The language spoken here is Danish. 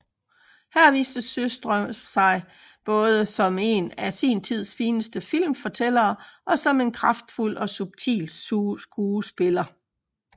Her viste Sjöström sig både som en af sin tids fineste filmfortællere og som en både kraftfuld og subtil skuespiller